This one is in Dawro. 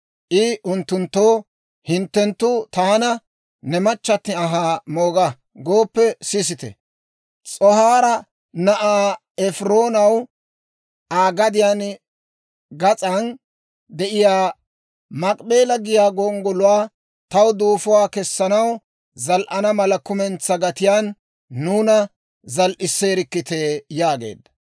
I unttunttoo, «Hinttenttu taana, ‹Ne machchatti anhaa mooga› gooppe sisite; S'ohaara na'aa Efiroonaw Aa gadiyaa gas'an de'iyaa Maakip'eela giyaa gonggoluwaa taw duufuwaa kessanaw zal"ana mala kumentsaa gatiyaan nuuna zal"iseerikkite» yaageedda.